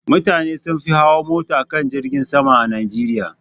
Mutane sun fi hawa mota kan jirgin sama a Najeriya.